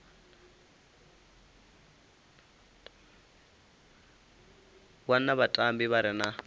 wana vhatambi vha re na